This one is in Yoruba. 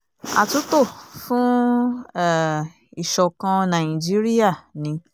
àtúntò fún um ìṣọ̀kan nàìjíríà ni